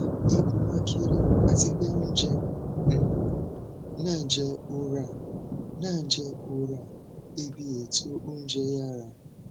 kí um ni àǹfààní tó um wà nínú lílo lílo oògùn yìí láti um lóyún